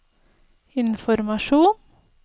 informasjon